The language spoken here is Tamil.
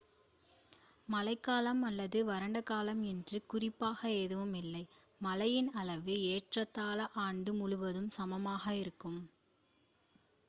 மழைக்காலம் அல்லது வறண்ட காலம் என்று குறிப்பாக எதுவும் இல்லை மழையின் அளவு ஏறத்தாழ ஆண்டு முழுவதும் சமமாக இருக்கும்